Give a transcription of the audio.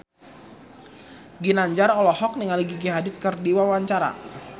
Ginanjar olohok ningali Gigi Hadid keur diwawancara